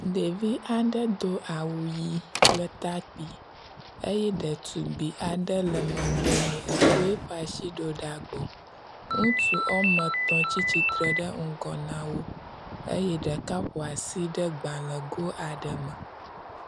Ɖevi aɖe do awu ʋi kple takpi eye ɖetugbi aɖe le megbe ne eko eƒe asi ɖo ɖa gbɔ. Ŋutsu wome etɔ̃ tsi tsitre ɖe ŋgɔ na wo eye ɖeka ƒo asi ɖe gbalẽgo aɖe me.